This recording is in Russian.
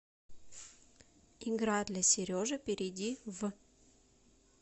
игра для сережи перейди в